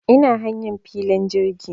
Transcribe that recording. Ina hanyan filin jirgi